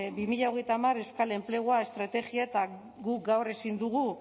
bi mila hogeita hamar euskal enplegua estrategia eta guk gaur ezin dugu